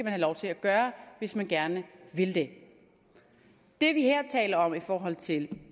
have lov til at gøre hvis man gerne vil det det vi her taler om i forhold til